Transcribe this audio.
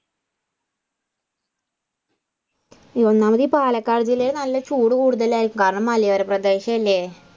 ഒന്നാമത് പാലക്കാട് ജില്ലയിൽ നല്ല ചൂട് കൂടുതലായിരിക്കും കാരണം മലയോര പ്രദേശമല്ലേ.